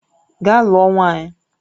Gaa lụọ nwaanyị!